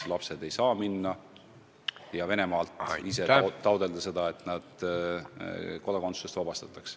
Lapsed ei saa minna ja Venemaalt taotleda, et nad Vene kodakondsusest vabastataks.